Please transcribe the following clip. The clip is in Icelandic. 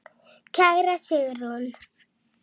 Kæra Sigrún.